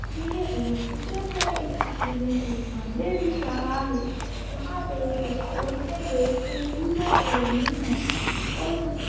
यह एक चित्र है इस चित्र में एक मंदिर दिख रहा है जहां पे कुछ औरतें बैठ के पूजा कर रही हैं और कुछ--